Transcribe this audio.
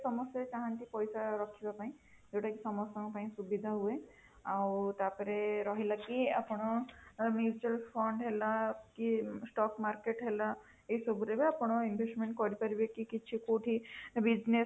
ସମସ୍ତେ ଚାହାନ୍ତି ପଇସା ରଖିବା ପାଇଁ ଯୋଉଟା କି ସମସ୍ତଙ୍କ ପାଇଁ ସୁବିଧା ହୁଏ ଆଉ ତାପରେ ରହିଲା କି ଆପଣ mutual fund ହେଲା କି stock market ହେଲା ଏହି ସବୁ ରେ ବି ଆପଣ invest କରିପାରିବେ କି କିଛି କୋଉଠି business